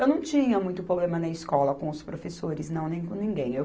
Eu não tinha muito problema na escola com os professores, não, nem com ninguém.